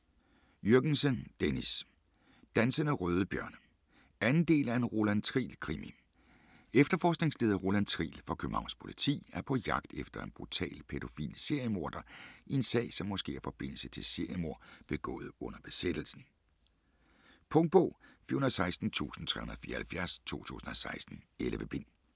Jürgensen, Dennis: Dansende røde bjørne 2. del af En Roland Triel krimi. Efterforskningsleder Roland Triel fra Københavns politi er på jagt efter en brutal pædofil seriemorder i en sag som måske har forbindelse til seriemord begået under besættelsen. Punktbog 416374 2016. 11 bind.